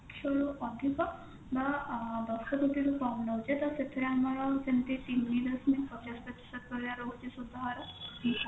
ରୁ ଅଧିକ ବା ଅ ଦଶ ପ୍ରତିଶତ ରୁ କମ ନଉଛେ ତ ସେଥିରେ ଆମର ତିନି ଦଶମିକ ପଚାଶ ପ୍ରତିଶତ ଭଳିଆ ରହୁଛି ସୁଧହାର